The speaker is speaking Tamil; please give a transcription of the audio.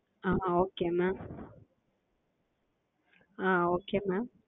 ah Okay mam ah Okay mam